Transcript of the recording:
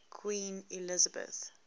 queen elizabeth